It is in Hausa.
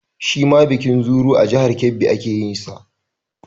Shi ma bikin Zuru a jihar Kebbi ake yin sa